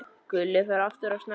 Gulli fór aftur að snökta.